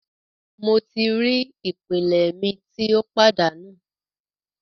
Mo ti ri ipele mi ti o padanu